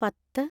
പത്ത്